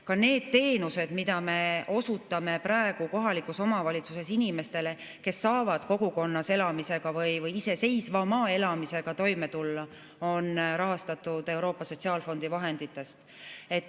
Ka need teenused, mida me osutame praegu kohalikus omavalitsuses inimestele, et nad saaksid kogukonnas elamisega või iseseisvama elamisega toime tulla, on rahastatud Euroopa Sotsiaalfondi vahenditest.